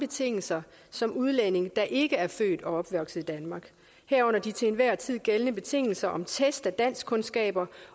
betingelser som udlændinge der ikke er født og opvokset i danmark herunder de til enhver tid gældende betingelser om test af danskkundskaber